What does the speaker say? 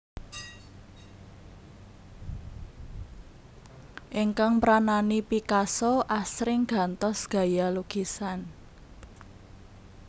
Ingkang mranani Picasso asring gantos gaya lukisan